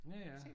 Ja ja